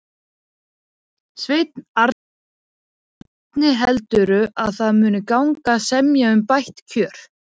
Sveinn Arnarson: Hvernig heldurðu að það muni gangi að semja um bætt kjör?